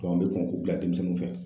an bɛ kɔn k'u bila denmisɛnninw fɛ.